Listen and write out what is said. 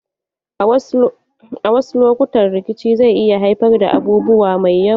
A wasu lokutan rikici zai iya haifar da abubuwa mai yawa.